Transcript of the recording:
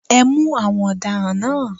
Ẹ mú àwọn ọ̀daràn náà.